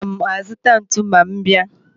Aga m azuta ntu ma m bia.